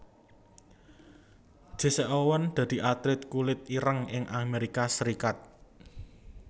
Jesse Owens dadi atlét kulit ireng ing Amérika Serikat